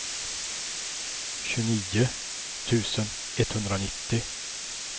tjugonio tusen etthundranittio